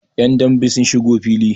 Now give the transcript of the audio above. yan dambe sun shigo fili